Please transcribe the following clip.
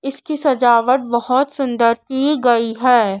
इसकी सजावट बहोत सुंदर की गई है।